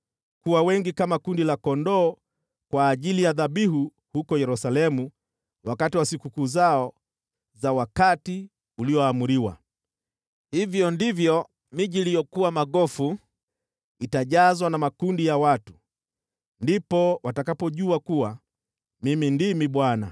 kuwa wengi kama kundi la kondoo kwa ajili ya dhabihu huko Yerusalemu wakati wa sikukuu zao za wakati ulioamriwa. Hivyo ndivyo miji iliyokuwa magofu itajazwa na makundi ya watu. Ndipo watakapojua kuwa Mimi ndimi Bwana .”